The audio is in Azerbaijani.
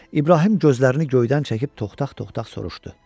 İbrahim gözlərini göydən çəkib toxtaq-toxtaq soruşdu: